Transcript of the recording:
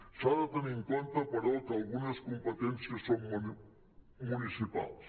s’ha de tenir en compte però que algunes competències són municipals